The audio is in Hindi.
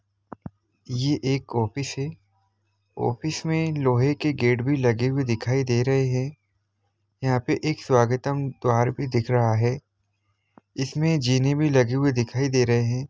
ये एक ऑफिस है ऑफिस मे लोहे की गेट भी लगे हुए दिखाईं दे रहे है यहां पे के स्वागतम द्वार भी दिख रहा है इसमे जीमें भी लगी हुई दिखाई दे रहे है।